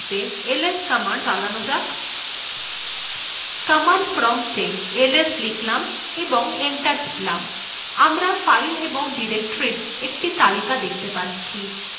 command prompta ls লিখলাম এবং enter টিপলাম আমরা files এবং ডিরেক্টরীর একটি তালিকা দেখতে পাচ্ছি